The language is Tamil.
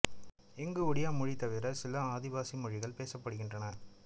இங்கு ஒடியா மொழி தவிர சில ஆதிவாசி மொழிகளும் பேசப்படுகின்றன